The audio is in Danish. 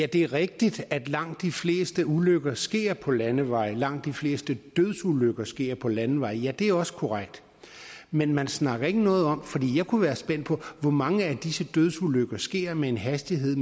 det er rigtigt at langt de fleste ulykker sker på landeveje og langt de fleste dødsulykker sker på landeveje ja det er også korrekt men man siger ikke noget om hvor mange af disse dødsulykker der sker med en hastighed